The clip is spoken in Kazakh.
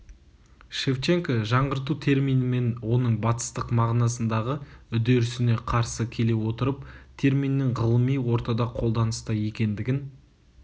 шевченко жаңғырту термині мен оның батыстық мағынасындағы үдерісіне қарсы келе отырып терминнің ғылыми ортада қолданыста екендігін